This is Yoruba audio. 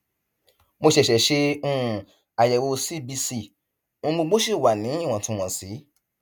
mo ṣẹṣẹ ṣe um àyẹwò cbc ohun gbogbo sì wà níwọntúnwọnsì